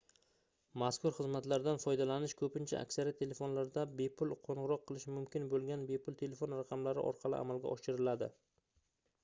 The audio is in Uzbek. mazkur xizmatlardan foydalanish koʻpincha aksariyat telefonlardan bepul qoʻngʻiroq qilish mumkin boʻlgan bepul telefon raqamlari orqali amalga oshiriladi